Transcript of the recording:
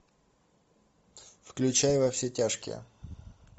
включай во все тяжкие